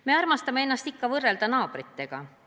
Me armastame ennast ikka võrrelda naabritega.